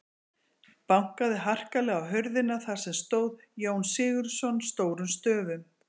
Bankaði harkalega á hurðina þar sem stóð Jón Sigurðsson stórum stöfum.